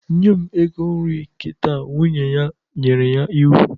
Nye m ego nri kita! Nwunye ya nyere ya iwu